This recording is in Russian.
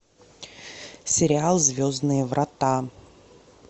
сериал звездные врата